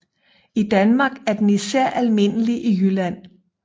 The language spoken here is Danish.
I Danmark er den især almindelig i Jylland